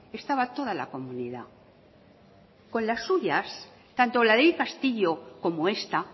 estaba toda la comunidad con las suyas tanto la ley castillo como esta